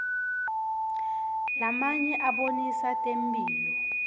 lamanye abonisa temphilo